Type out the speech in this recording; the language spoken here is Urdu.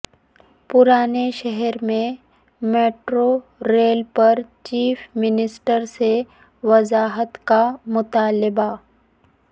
پرانے شہر میں میٹرو ریل پر چیف منسٹر سے وضاحت کا مطالبہ